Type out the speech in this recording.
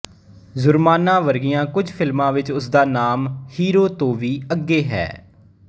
ਜੁਰਮਾਨਾ ਵਰਗੀਆਂ ਕੁਝ ਫਿਲਮਾਂ ਵਿੱਚ ਉਸਦਾ ਨਾਮ ਹੀਰੋ ਤੋਂ ਵੀ ਅੱਗੇ ਹੈ